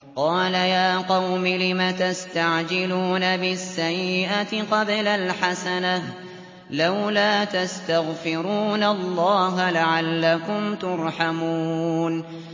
قَالَ يَا قَوْمِ لِمَ تَسْتَعْجِلُونَ بِالسَّيِّئَةِ قَبْلَ الْحَسَنَةِ ۖ لَوْلَا تَسْتَغْفِرُونَ اللَّهَ لَعَلَّكُمْ تُرْحَمُونَ